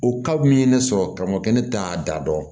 O min ye ne sɔrɔ ka mɔgɔ kɛ ne t'a da dɔn